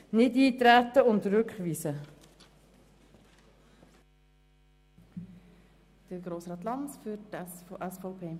Bitte treten Sie nicht auf diese Vorlage ein und weisen Sie diese zurück.